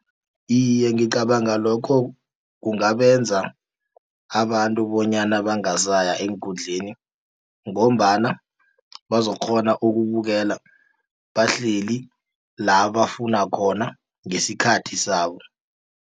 Iye, ngicabanga lokho kungabenza abantu bonyana bangasaya eenkundleni ngombana bazokukghona ukubukela bahleli labafuna khona ngesikhathi sabo.